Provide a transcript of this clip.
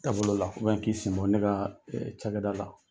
taabolo la k'i sen bɔ ne ka cakɛda la.